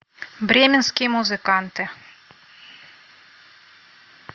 бременские музыканты